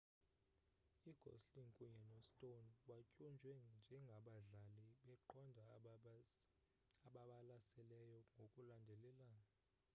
ugosling kunye no-stone batyunjwe ngengabadlali beqonga ababalaseleyo ngokulandelelana